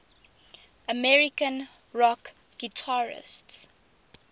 american rock guitarists